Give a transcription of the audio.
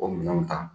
O minɛnw ta